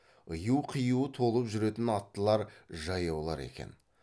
ыю қию толып жүрген аттылар жаяулар екен